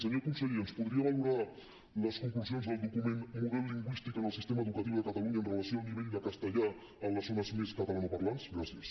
senyor conseller ens podria valorar les conclusions del document model lingüístic en el sistema educatiu de catalunya en relació amb el nivell de castellà en les zones més catalanoparlants gràcies